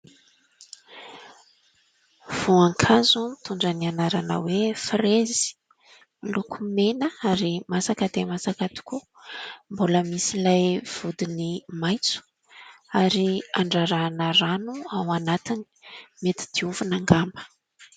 Voankazo mitondra ny anarana hoe frezy miloko mena ary masaka dia masaka tokoa mbola misy ilay vodiny maintso ary an-drarahana rano ao anatiny mety diovina angamba